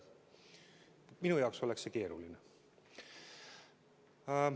Minu jaoks oleks see keeruline.